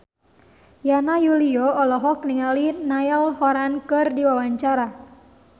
Yana Julio olohok ningali Niall Horran keur diwawancara